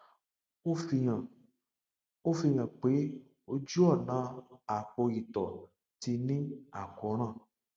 ó fihàn ó fihàn pé ojú ọnà apò ìtọ ti ní àkóràn